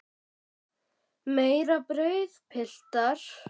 Meira brauð, piltar?